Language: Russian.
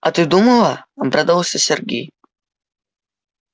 а ты думала обрадовался сергей